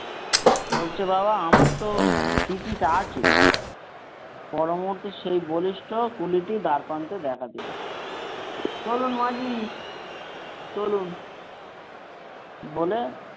বলছে বাবা আমারতো ticket আছে পরমুহূর্তে সে বলিষ্ঠ কুলিটি দ্বারপ্রান্তে দেখা দিল বলল মা জি চলুন বলে,